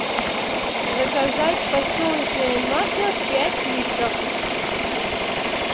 заказать подсолнечное масло пять литров